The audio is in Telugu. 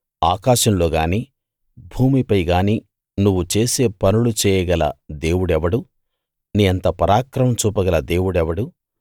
ఆకాశంలో గాని భూమిపై గాని నువ్వు చేసే పనులు చేయగల దేవుడెవడు నీ అంత పరాక్రమం చూపగల దేవుడెవడు